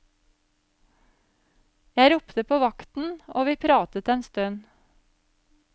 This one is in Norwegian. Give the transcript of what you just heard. Jeg ropte på vakten og vi pratet en stund.